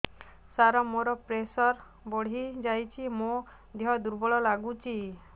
ସାର ମୋର ପ୍ରେସର ବଢ଼ିଯାଇଛି ମୋ ଦିହ ଦୁର୍ବଳ ଲାଗୁଚି